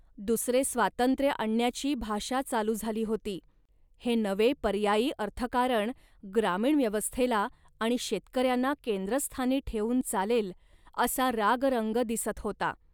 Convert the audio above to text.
दुसरे स्वातंत्र्य आणण्याची भाषा चालू झाली होती. हे नवे पर्यायी अर्थकारण ग्रामीण व्यवस्थेला आणि शेतकऱ्यांना केंद्रस्थानी ठेवून चालेल असा रागरंग दिसत होता